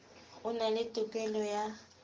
o na le tokelo ya